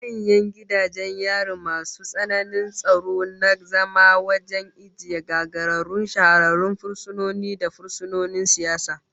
Maximum security prisons keep hardened, high profile and political prisoners